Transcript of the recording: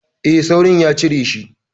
E, Saurin ya cijeshi.